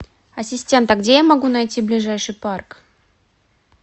ассистент а где я могу найти ближайший парк